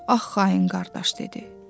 Ax xain qardaş dedi.